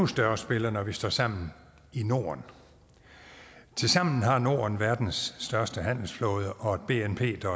større spiller når vi står sammen i norden tilsammen har norden verdens største handelsflåde og et bnp der